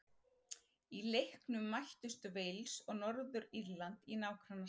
Í leiknum mættust Wales og Norður-Írland í nágrannaslag.